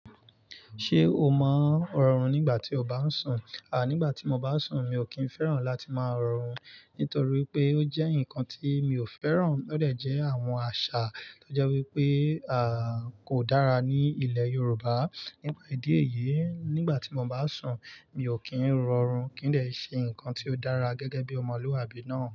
Ṣé o máa ń rọrùn nígbà tí o bá ń sùn? À, nígbà tí mo bá sùn, mi ò kí ń fẹ́ràn láti máa rọri nítorí pé ó jẹ́ nǹkan tí mi ò fẹ́ràn. Ó dẹ̀ jẹ́ àwọn àṣà tó jẹ́ wípé, à, kò dára ní ilẹ̀ Yorùbá. Nípà idí èyí, nígbà tí mo bá sùn, mi ò kí ń rọrùn kí n dẹ i ṣe nkan tí ó dára gẹ́gẹ́ bí ọmọlúwàbí náà.